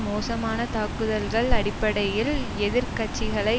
மோசமான தாக்குதல்கள் அடிப்படையில் எதிர் கட்சிகளை